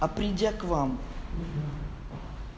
а придя к вам